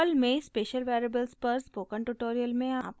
perl में special variables पर spoken में आपका स्वागत है